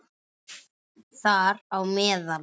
Þar á meðal